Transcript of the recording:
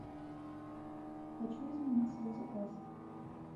хочу изменить свой заказ